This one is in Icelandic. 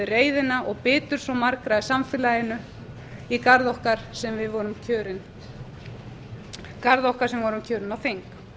reiðina og biturð svo margra í samfélaginu í garð okkar sem vorum kjörin á þing